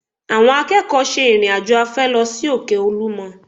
Àwọn akẹ́kọ̀ọ́ ṣe ìrìn-àjò afẹ́ lọ sí òkè Olúmọ